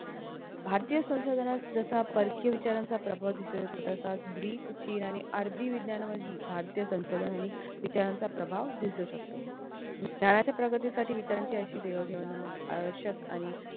भारतीय संशोधनात जसा परकीय विचारांचा प्रभाव दिसतो तसेच ग्रीक चीन आणि अरबी विज्ञान ही भारतीय संशोधन आणि विचारांचा प्रभाव दिसू शकतो विचाराच्या प्रगतीसाठी विचारांची अशी देवाणघेवाण आवश्यक आणि